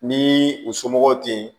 Ni u somɔgɔw ten yen